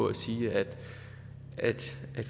at sige at